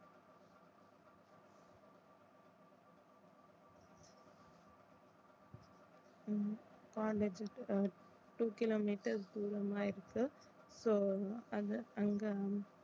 உம் college two kilometer தூரமா இருக்கு so அது அங்க